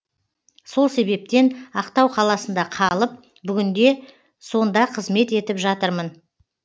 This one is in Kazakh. сол себептен ақтау қаласында қалып бүгінде сонда қызмет етіп жатырмын